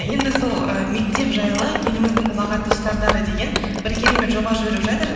енді сол і мектеп жайлы еліміздің ұлағатты ұстаздары деген бір керемет жоба жүріп жатыр